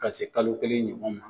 Ka se kalo kelen ɲɔgɔn ma.